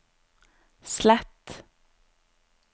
slett